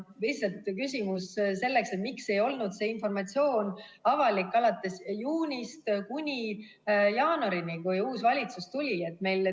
Lihtsalt küsimus on selles, miks ei olnud see informatsioon avalik alates juunist kuni jaanuarini, kui uus valitsus tuli.